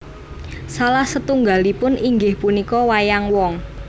Salah setunggalipun inggih punika wayang wong